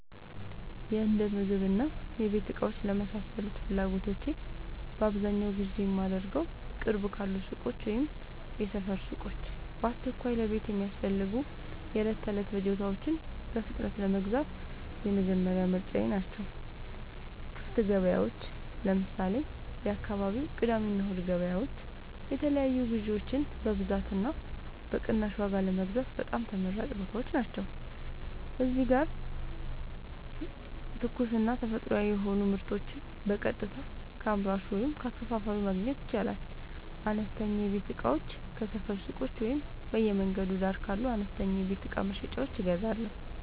የእንደምግብና የቤት እቃዎች ለመሳሰሉት ፍላጎቶቼ በአብዛኛው ግዢ የማደርገዉ፦ ቅርብ ካሉ ሱቆች (የሰፈር ሱቆች)፦ በአስቸኳይ ለቤት የሚያስፈልጉ የዕለት ተዕለት ፍጆታዎችን በፍጥነት ለመግዛት የመጀመሪያ ምርጫየ ናቸው። ክፍት ገበያዎች (ለምሳሌ፦ የአካባቢው የቅዳሜና እሁድ ገበያዎች) የተለያዩ ግዥዎችን በብዛትና በቅናሽ ዋጋ ለመግዛት በጣም ተመራጭ ቦታዎች ናቸው። እዚህ ጋር ትኩስና ተፈጥሯዊ የሆኑ ምርቶችን በቀጥታ ከአምራቹ ወይም ከአከፋፋዩ ማግኘት ይቻላል። አነስተኛ የቤት እቃዎችን ከሰፈር ሱቆች ወይም በየመንገዱ ዳር ካሉ አነስተኛ የቤት እቃ መሸጫዎች እገዛለሁ።